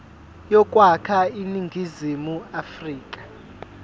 yokwakha iningizimu afrika